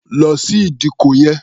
Lọ sí ìdíkọ̀ yẹn!